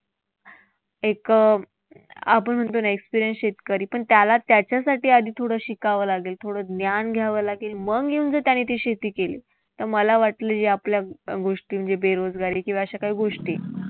एक आपण म्हणतो ना एक experienced शेतकरी पण त्याला त्याच्यासाठी आधी थोडं शिकावं लागेल. थोडं ज्ञान घ्यावं लागेल. मग येऊन जर त्याने ती शेती केली तर मला वाटतं अं गोष्टी बेरोजगारी किंवा अशा काही गोष्टी